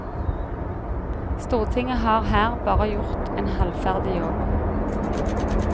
Stortinget har her bare gjort en halvferdig jobb.